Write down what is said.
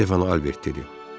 Stefan Albert dedi.